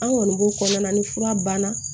An kɔni b'o kɔnɔna ni fura banna